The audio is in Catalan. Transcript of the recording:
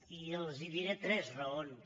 i els en diré tres raons